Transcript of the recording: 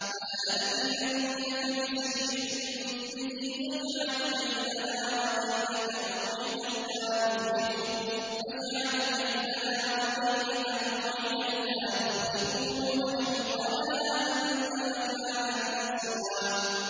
فَلَنَأْتِيَنَّكَ بِسِحْرٍ مِّثْلِهِ فَاجْعَلْ بَيْنَنَا وَبَيْنَكَ مَوْعِدًا لَّا نُخْلِفُهُ نَحْنُ وَلَا أَنتَ مَكَانًا سُوًى